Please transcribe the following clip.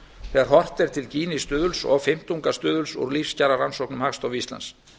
þegar horft er til gini stuðuls og fimmtungastuðuls úr lífskjararannsókn hagstofu íslands